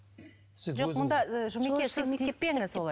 жоқ мұнда ыыы жұмеке сіз тиіспеңіз олай